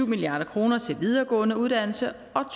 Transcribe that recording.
milliard kroner til videregående uddannelser og